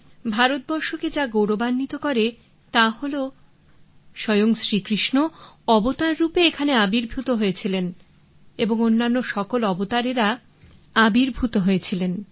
ভারতকে যা গৌরবান্বিত করে তা হলো স্বয়ং শ্রীকৃষ্ণ অবতার রূপে এখানে আবির্ভূত হয়েছিলেন এবং অন্যান্য সকল অবতারেরা আবির্ভূত হয়েছিলেন